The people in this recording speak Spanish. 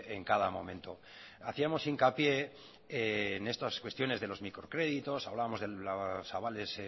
en cada momento hacíamos hincapié en estas cuestiones de los microcréditos hablábamos de los avales